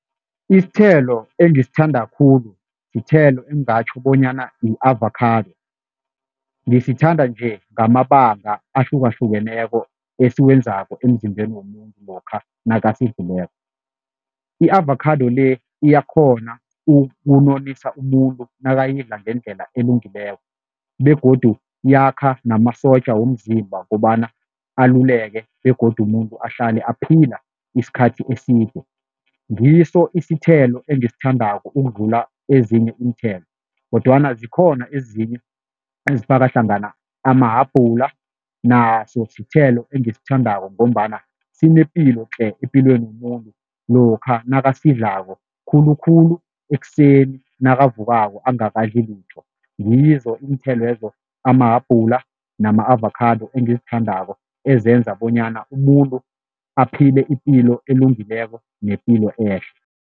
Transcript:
Isithelo engisithanda khulu sithelo engingatjho bonyana i-avakhado, ngisithanda nje ngamabanga ahlukahlukeneko esikwenzako emzimbeni womuntu lokha nakasidlileko. I-avakhado le iyakghona ukunonisa umuntu nakayidla ngendlela elungileko begodu yakha namasotja womzimba kukobana aluleke begodu umuntu ahlale aphila isikhathi eside, ngiso isithelo engisithandako ukudlula ezinye iinthelo kodwana zikhona ezinye ezifaka hlangana amahabhula naso isithelo engisithandako ngombana sinepilo tle epilweni yomuntu lokha nakasidlako khulukhulu ekuseni nakavukako angakadli litho, ngizo iinthelwezo, amahabhula nama-avakhado engizithandako ezenza bonyana umuntu aphile ipilo elungileko nepilo ehle.